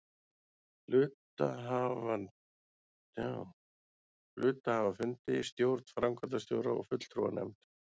hluthafafundi, stjórn, framkvæmdastjóra og fulltrúanefnd.